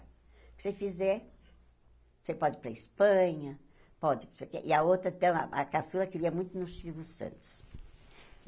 O que você fizer, você pode ir para a Espanha, pode não sei o que... E a outra, então, a caçula queria muito ir no Silvio Santos.